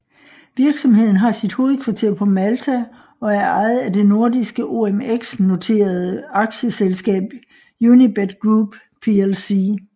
Virksomheden har sit hovedkvarter på Malta og er ejet af det nordiske OMX noterede aktieselskab Unibet Group plc